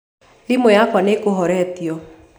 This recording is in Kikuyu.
thimu yakwa nĩĩkũhoretĩo